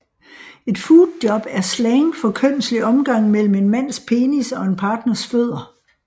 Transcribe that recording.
Et footjob er slang for kønslig omgang mellem en mands penis og en partners fødder